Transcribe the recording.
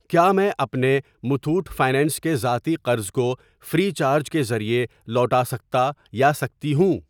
کیا میں اپنے متھوٹ فنانس کے ذاتی قرض کو فری چارج کے ذریعے لوٹا سکتا یا سکتی ہوں؟